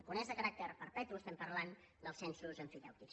quan és de caràcter perpetu estem parlant dels censos emfitèutics